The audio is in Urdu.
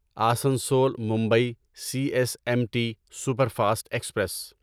Asansol Mumbai C S M T super fast express